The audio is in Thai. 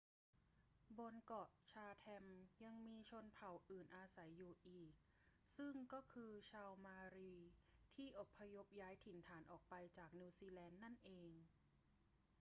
บนเกาะชาแธมยังมีชนเผ่าอื่นอาศัยอยู่อีก ซึ่งก็คือชาวเมารีที่อพยพย้ายถิ่นฐานออกไปจากนิวซีแลนด์นั่นเอง